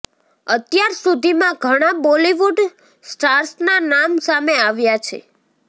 અત્યાર સુધીમાં ઘણા બોલીવુડ સ્ટાર્સના નામ સામે આવ્યા છે